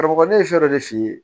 Karamɔgɔkɛ fɛn dɔ de f'i ye